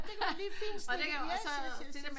Det kunne de lige fint stikke i yes yes